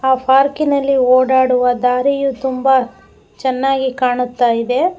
ಆ ಪಾರ್ಕ್ ಇನಲ್ಲಿ ಓಡಾಡುವ ದಾರಿಯು ತುಂಬಾ ಚೆನ್ನಾಗಿ ಕಾಣುತ್ತಾಯಿದೆ.